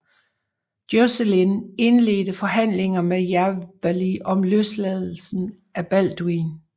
Joscelin indledte forhandlinger med Jawali om løsladelsen af Balduin